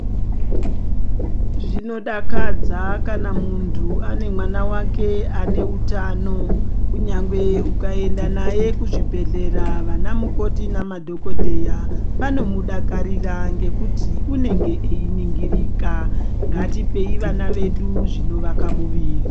Zvinodakadza kana muntu ane mwana wake ane utano. Kunyangwe ukaenda naye kuzvibhedhlera vana mukoti namadhokodheya vanomudakarira ngekuti unenge einingirika. Ngatipei vana vedu zvinovaka muviri.